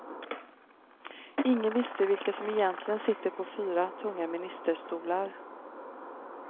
Ingen visste vilka som egentligen sitter på fyra, tunga ministerstolar.